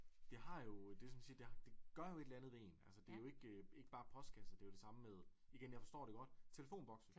Det har jo det som man siger det det gør jo et eller andet ved én altså det jo ikke ikke bare postkasser det jo det samme med igen jeg forstår det godt telefonbokse